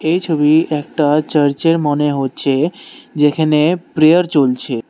এই ছবি একটা চার্চ এর মনে হচ্ছে যেইখানে প্রেয়ার চলছে।